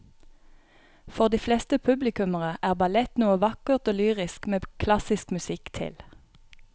For de fleste publikummere er ballett noe vakkert og lyrisk med klassisk musikk til.